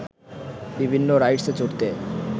বিভিন্ন রাইডসে চড়তে